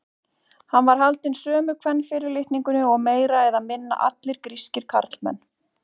Hann var haldinn sömu kvenfyrirlitningunni og meira eða minna allir grískir karlmenn.